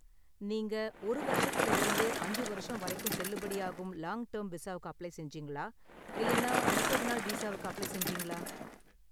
நீங்க ஒரு வருஷத்துல இருந்து அஞ்சு வருஷம் வரைக்கும் செல்லுபடியாகும் லாங் டெர்ம் விசாவுக்கு அப்ளை செஞ்சீங்களா இல்லனா முப்பது நாள் வீசாவுக்கு அப்ளை செஞ்சீங்களா?